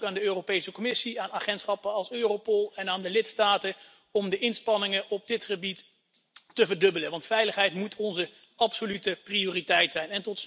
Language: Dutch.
Ik vraag de Europese Commissie, agentschappen als Europol en de lidstaten dan ook om de inspanningen op dit gebied te verdubbelen, want veiligheid moet onze absolute prioriteit zijn.